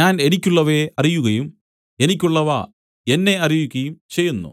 ഞാൻ എനിക്കുള്ളവയെ അറിയുകയും എനിക്കുള്ളവ എന്നെ അറിയുകയും ചെയ്യുന്നു